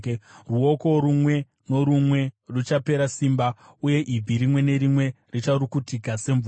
Ruoko rumwe norumwe ruchapera simba uye ibvi rimwe nerimwe richarukutika semvura.